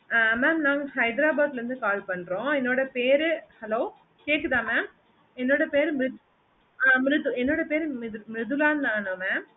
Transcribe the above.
அஹ் mam நாங்க cyber about ல இருந்து call பண்றோம் என்னோட பேரு hello கேக்குதா mam என்னோட பேரு ம்ரிதுலா ஆணு mam